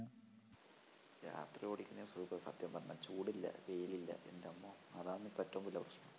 രാത്രി ഓടിക്കുന്നതാ സുഖം സത്യം പറഞ്ഞാ ചൂടില്ല വെയിലില്ല എൻറ്റമ്മോ അതാണിപ്പോ ഏറ്റവും വലിയ പ്രശ്നം